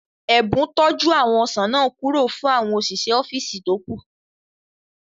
Ẹ̀bùn tọ́ jú àwọn ọsàn náà kúrò fún àwọn òṣìṣẹ́ ọ́físì tó kù